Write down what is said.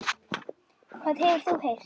Hvað hefur þú heyrt?